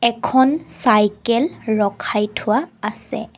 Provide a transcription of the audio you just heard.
এখন চাইকেল ৰখাই থোৱা আছে।